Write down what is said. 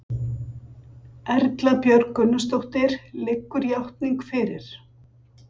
Erla Björg Gunnarsdóttir: Liggur játning fyrir?